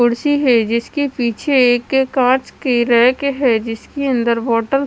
कुर्सी है जिसके पीछे एक कांच की रैक है जिस के अंदर बोटल --